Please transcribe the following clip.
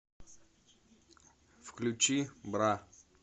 включи бра